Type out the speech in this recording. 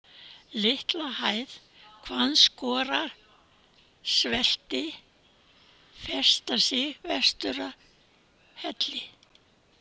Litlahæð, Hvannskorarsvelti, Festarsig, Vestururðarhellir